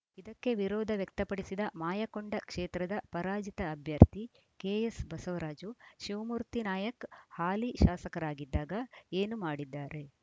ಇದಕ್ಕೆ ವಿರೋಧ ವ್ಯಕ್ತಪಡಿಸಿದ ಮಾಯಕೊಂಡ ಕ್ಷೇತ್ರದ ಪರಾಜಿತ ಅಭ್ಯರ್ಥಿ ಕೆಎಸ್‌ ಬಸವರಾಜು ಶಿವಮೂರ್ತಿ ನಾಯಕ್‌ ಹಾಲಿ ಶಾಸಕರಾಗಿದ್ದಾಗ ಏನು ಮಾಡಿದ್ದಾರೆ